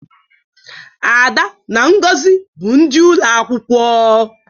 ada na ngozi bu ndi ulo akwukwo